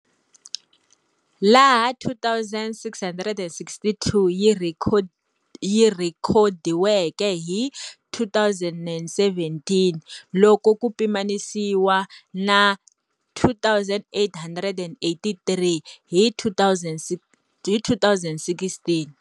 laha 2662 yi rhekodiweke hi 2017 loko ku pimanisiwa na 2883 hi 2016.